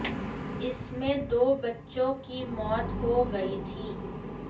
इसमें दो बच्चों की मौत हो गई थी